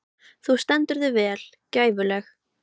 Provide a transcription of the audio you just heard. Þú stendur þig vel, Gæflaug!